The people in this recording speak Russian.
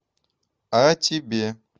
а тебе